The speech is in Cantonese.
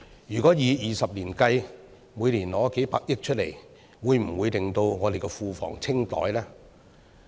如果以20年計算，每年取出數百億元，會否使我們的庫房清袋呢？